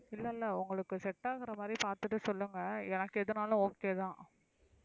இல்ல இல்ல உங்களுக்கு set ஆகுற மாதிரி பாத்துட்டு சொல்லுங்க எனக்கு எதுனாலும் okay தான்,